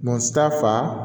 fa